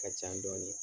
Ka ca dɔɔnin